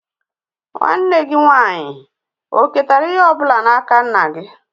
Nwanne gị nwaanyị oketara ihe ọ bụla n'aka nna gị?